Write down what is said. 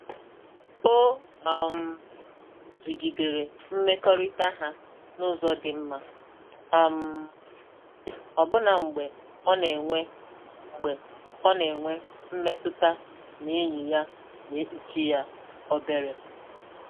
O um jigidere mmekọrịta ha n’ụzọ dị mma, um ọbụna mgbe ọ na-enwe mgbe ọ na-enwe mmetụta na enyi ya na-ekpuchi ya obere